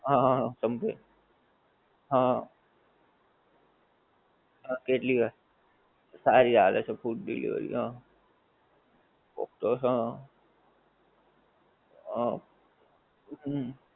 હા હા હા સમજે હા, હા કેટલી વાર હા, સારી આલે છે food delivery હા, પોપટોસ હા, હા, હમ